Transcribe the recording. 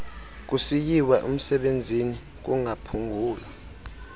kusiyiwa umsebenzini kungaphungula